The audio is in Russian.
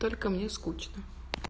только мне скучно